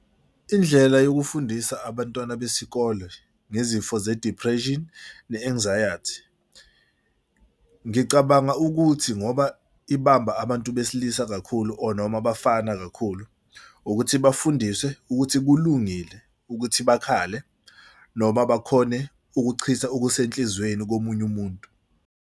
Indlela yokufundisa abantwana besikole ngezifo ze-depression ne-anxiety ngicabanga ukuthi ngoba ibamba abantu besilisa kakhulu or noma abafana kakhulu ukuthi bafundiswe ukuthi kulungile ukuthi bakhale noma bakhone ukuchitha okuse enhlizweni komunye umuntu.